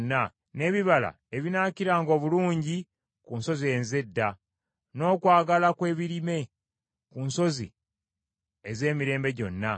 n’ebibala ebinaakiranga obulungi ku nsozi ez’edda, n’okwala kw’ebirime ku nsozi ez’emirembe gyonna;